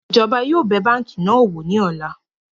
Ìjọba yóò bẹ̀ báńkì náà wò ní ọ̀la